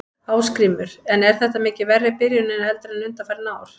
Ásgrímur: En er þetta mikið verri byrjun heldur en undanfarin ár?